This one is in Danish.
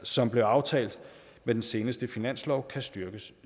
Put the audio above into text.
som blev aftalt med den seneste finanslov kan styrkes